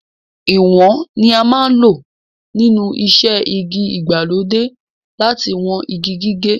Ìwọ̀n ni a máa ń lò nínú iṣẹ́ igi ìgbàlódé láti wọn igi gígé.